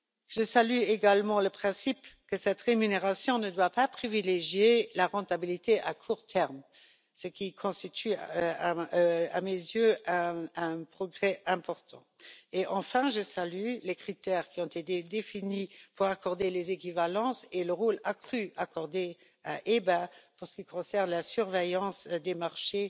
Je salue également le principe selon lequel cette rémunération ne doit pas privilégier la rentabilité à court terme, ce qui constitue à mes yeux un progrès important. Enfin, je salue les critères qui ont été définis pour accorder les équivalences et le rôle accru accordé à l'Autorité bancaire européenne pour ce qui est de la surveillance des marchés